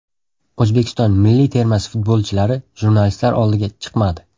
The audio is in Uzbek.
O‘zbekiston milliy termasi futbolchilari jurnalistlar oldiga chiqmadi.